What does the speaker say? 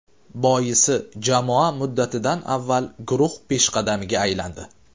Boisi jamoa muddatidan avval guruh peshqadamiga aylandi.